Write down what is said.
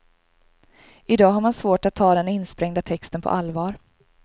I dag har man svårt att ta den insprängda texten på allvar.